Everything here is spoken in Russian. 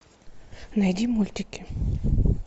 найди мультики